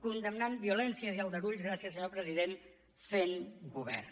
condemnant violències i aldarulls gràcies senyor president fent govern